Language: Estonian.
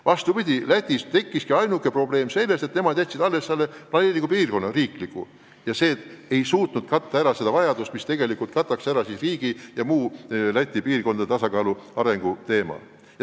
Vastupidi, Lätis tekkiski ainuke probleem sellest, et nemad jätsid alles vaid riikliku planeeringu piirkonna ja sellest ei piisanud, et arendada Riia ja muu Läti piirkondade tasakaalu teemat.